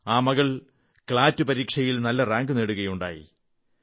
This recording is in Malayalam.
ആ മകൾ ക്ലാറ്റ് ക്ലാറ്റ് പരീക്ഷയിൽ നല്ല റാങ്ക് നേടുകയുണ്ടായി